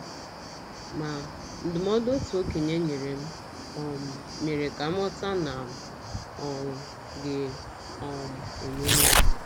Ma, ndụmọdụ otu okenye nyere m um mere ka m ghọta na m um ga - um emeli ya. ”